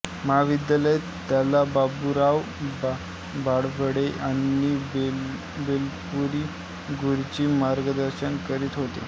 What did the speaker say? महाविद्यालयात त्याला बाबुराव बाळवडे आणि बेलपुरी गुरुजी मार्गदर्शन करीत होते